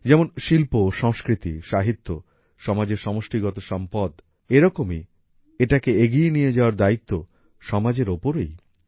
যেমন শিল্প সংস্কৃতি সাহিত্য সমাজের সমষ্টিগত সম্পদ এইরকমই এটা কে এগিয়ে নিয়ে যাওয়ার দায়িত্ব সমাজের ওপরেই